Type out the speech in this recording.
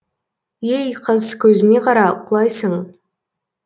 ей қыз көзіңе қара құлайсың